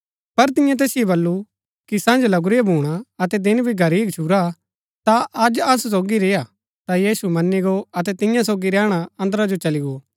पर तियें तैसिओ बल्लू कि सन्‍ज लगुरीआ भूणा अतै दिन भी घरही गच्छुरा ता अज असु सोगी ही रेआ ता यीशु मन्‍नी गो अतै तियां सोगी रैहणा अन्दरा जो चली गो